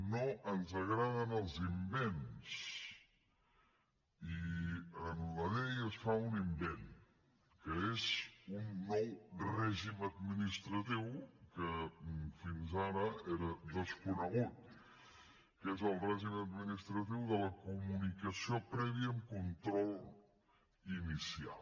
no ens agraden els invents i en la llei es fa un invent que és un nou règim administratiu que fins ara era desconegut que és el règim administratiu de la comunicació prèvia amb control inicial